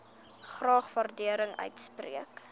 graag waardering uitspreek